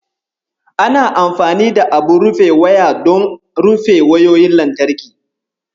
Ana amfani da abun rufe waya don rufe wayoyin lantarki.